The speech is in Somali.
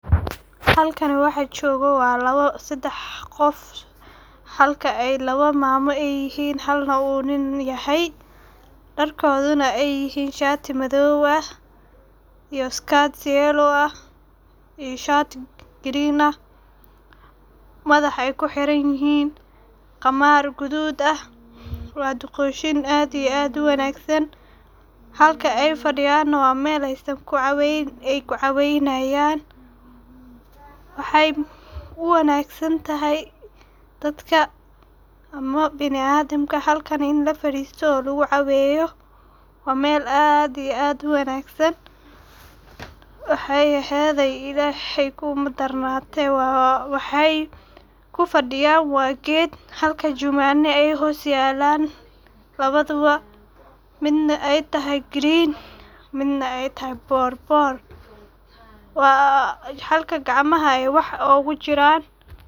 Halkanii waxa joga waa laba sedex qof. Halka labo ay mamo yihin halna u nin yahay ,dharkoduna u yahay shati madow ah iyo skirt, yellow ah iyo shati, green ah madaxa ay ku xiran yihin qamar gadud ah, waa duqoshin aad iyo aad u wanagsan halka ay fadiyana waa mel ay ku caweynayan. Waxey u wanag santahay dadka baniadamka halkani ini lafaristo oo lagu caweyo waa meel aad iyo aad u wanagsan. Waxey ehede Ilahey kumadarnate waa waxey kufadiyan waa ged, halka juwano ay hoos yelan labaduba midna ay tahay green ,midna ay tahay borbor waa halka gacmaha wax ogu jiran.